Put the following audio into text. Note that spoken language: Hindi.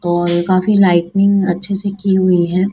और काफी लाइटिंग अच्छे से की हुई है।